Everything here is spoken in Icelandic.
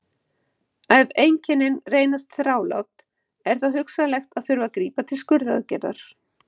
ef einkennin reynast þrálát er þó hugsanlegt að þurfi að grípa til skurðaðgerðar